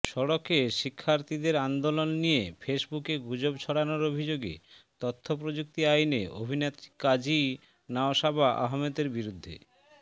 সড়কে শিক্ষার্থীদের আন্দোলন নিয়ে ফেসবুকে গুজব ছড়ানোর অভিযোগে তথ্যপ্রযুক্তি আইনে অভিনেত্রী কাজী নওশাবা আহমেদের বিরুদ্ধে